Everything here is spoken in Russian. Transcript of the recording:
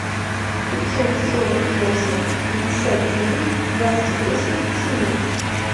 пятьсот сорок восемь пятьдесят девять двадцать восемь семнадцать